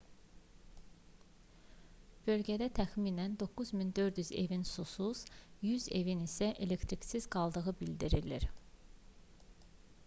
bölgədə təxminən 9400 evin susuz 100 evin isə elektriksiz qaldığı bildirilir